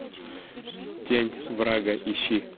тень врага ищи